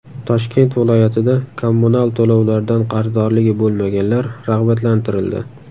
Toshkent viloyatida kommunal to‘lovlardan qarzdorligi bo‘lmaganlar rag‘batlantirildi.